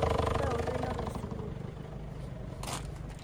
kaa oitoi nalo sukuul?